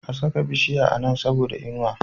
A saka bishiya a Nan saboda inuwa